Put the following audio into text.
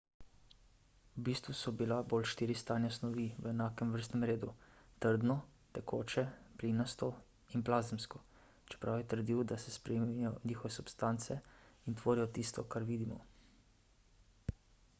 v bistvu so bile bolj štiri stanja snovi v enakem vrstnem redu: trdno tekoče plinasto in plazemsko čeprav je trdil da se spremenijo v nove substance in tvorijo tisto kar vidimo